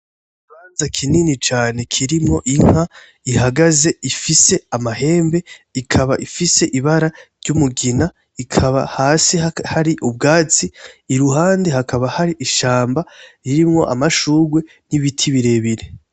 Ikibanza kinini cane kirimwo inka ihagaze ifise amahembe ikaba ifise ibara ry'umugina, ikaba hasi hari ubwatsi, iruhande hakaba hari ishamba, irimwo amashurwe n'ibiti birebire.